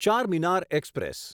Charminar express